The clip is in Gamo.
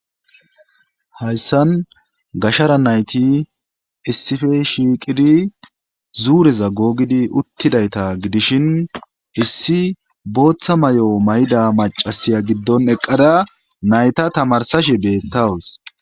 Hayssan gashara nayti issife shiiqidi zuureza googidi uttidayta gidishin issi booththa may7o mayda macasiya giddon eqqada nayta tamarsashe beettawus